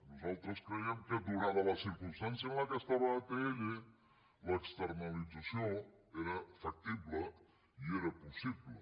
nosaltres creiem que donada la circumstància en què estava atll l’externalització era factible i era possible